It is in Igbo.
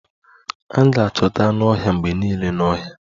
A ga-achọta anụ ọhịa mgbe niile n'ọhịa